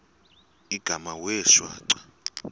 igama wee shwaca